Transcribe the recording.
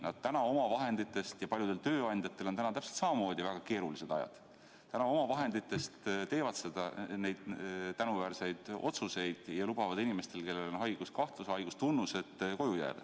Nad täna oma vahendite arvel – ja paljudel tööandjatel on täpselt samamoodi väga keerulised ajad – teevad neid tänuväärseid otsuseid ja lubavad inimestel, kellel on haiguskahtlus või haigustunnused, koju jääda.